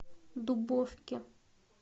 дубовке